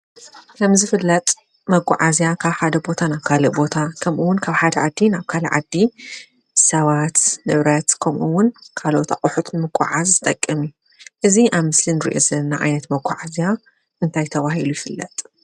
ከም ዝፍለጥ መጋዓዝያ ካብ ሓደ ቦታ ናብ ካልእ ቦታ ከምኡ እውን ካብ ሓደ ዓዲ ናብ ካልእ ዓዲ ሰባት ንብረት ከምኡ እውን ካልኦት ኣቑሑ ንምጉዕዓዝ ዝጠቅም፡፡ እዚ ኣብ ምስሊ እንሪኦ ዘለና ዓይነት መጓዓዝያ እንታይ ተባሂሉ ይፍለጥ ?